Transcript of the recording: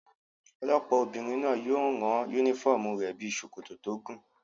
Olọ́pàá obìnrin náà yóò rán yúnífọ́ọ̀mù rẹ̀ bíi sòkòtò tó gùn